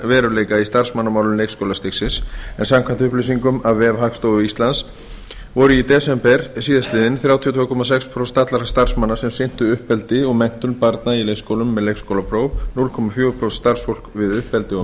veruleika í starfsmannamálum leikskólastigsins en samkvæmt upplýsingum á vef hagstofu íslands voru í desember síðastliðinn þrjátíu og tvö komma sex prósent allra starfsmanna sem sinntu uppeldi og menntun barna í leikskólum með leikskólapróf núll komma fjögur prósent starfsfólks við uppeldi og